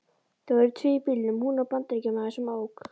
Þau voru tvö í bílnum, hún og Bandaríkjamaður sem ók.